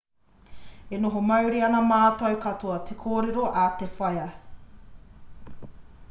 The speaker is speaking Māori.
e oho mauri ana mātou katoa te kōrero a te whaea